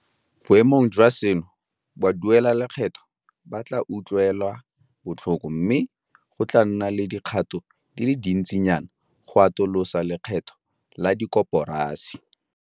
Boemong jwa seno, baduelalekgetho ba tla utlwelwa botlhoko mme go tla nna le dikgato di le dintsinyana go atolosa lekgetho la dikoporasi.